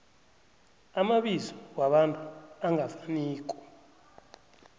amabizo wabantu angafaniko